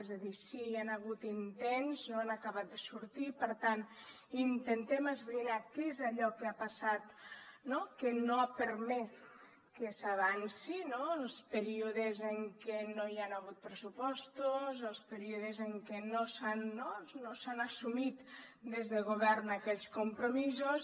és a dir sí hi han hagut intents no han acabat de sortir i per tant intentem esbrinar què és allò que ha passat que no ha permès que s’avanci no els períodes en què no hi han hagut pressupostos els períodes en què no s’han assumit des de govern aquells compromisos